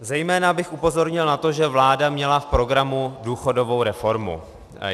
Zejména bych upozornil na to, že vláda měla v programu důchodovou reformu.